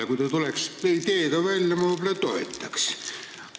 Ja kui te tuleksite selle ideega välja, siis ma võib-olla toetaksin.